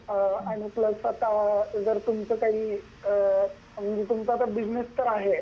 आणि प्लस तुमच आता काही म्हणजे तुमचा आता बिझनेस तर आहे